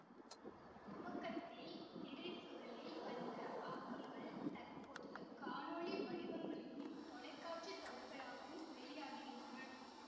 துவக்கத்தில் திரைச்சுருளில் வந்த ஆக்கங்கள் தற்போது காணொளி வடிவங்களிலும் தொலைக்காட்சி தொடர்களாகவும் வெளியாகுகின்றன